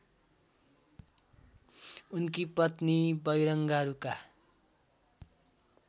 उनकी पत्नी बैरङ्गारूका